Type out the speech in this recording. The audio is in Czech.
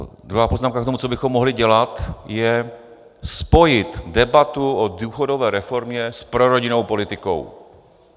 Druhá poznámka k tomu, co bychom mohli dělat, je spojit debatu o důchodové reformě s prorodinnou politikou.